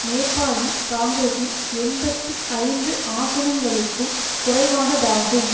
நேபாளி காங்கிரஸின் எண்பத்தி ஐந்து ஆசனங்களுக்கும் குறைவானதாகும்